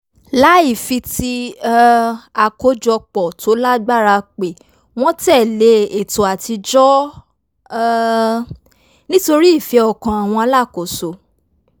láì fi ti um àkójopò tó lágbára pè wọ́n tẹ̀lé ètò àtijọ́ um nítorí ìfẹ́ ọkàn àwọn alákòóso